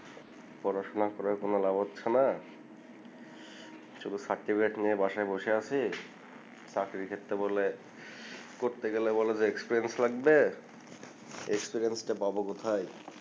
পড়াশোনা করে কোন লাভ হচ্ছেনা শুধু চাকরি বাকরি নিয়ে বাসায় বসে আছি চাকরির ক্ষেত্রে বলে করতে গেলে বলে যে লাগবে টা পাব কোথায়